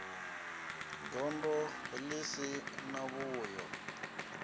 gondo ḽi si na vhuyo